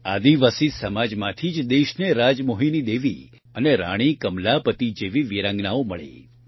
આદિવાસી સમાજમાંથી જ દેશને રાજમોહીની દેવી અને રાણી કમલાપતિ જેવી વિરાંગનાઓ મળી